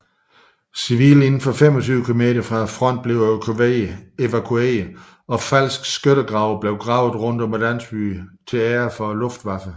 Civile indenfor 25 kilometer fra fronten blev evakueret og falske skyttegrave blev gravet rundt om landsbyerne til ære for Luftwaffe